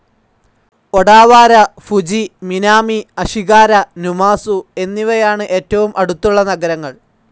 Odawara, Fuji, Minami Ashigara, Numazu എന്നിവയാണ് ഏറ്റവും അടുത്തുള്ള നഗരങ്ങൾ.